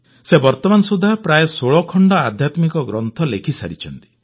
ସେ ବର୍ତ୍ତମାନ ସୁଦ୍ଧା ପ୍ରାୟ 16 ଖଣ୍ଡ ଆଧ୍ୟାତ୍ମିକ ଗ୍ରନ୍ଥ ଲେଖିସାରିଛନ୍ତି